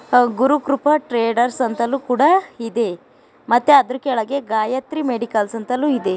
ಗುರು Krupa traders ಅಂತಲೂ ಕೂಡ ಇದೆ ಮತ್ತೆ ಅದರ ಕೆಳಗೆ ಗಾಯತ್ರಿ ಮೆಡಿಕಲ್ಸ್ ಅಂತಲೂ ಇದೆ.